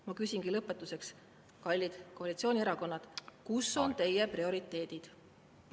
Ma küsingi lõpetuseks: kallid koalitsioonierakonnad, kus on teie prioriteedid?